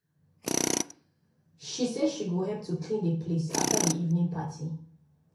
she say she go help to clean the place after the evening party